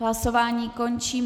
Hlasování končím.